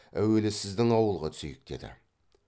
әуелі сіздің ауылға түсейік деді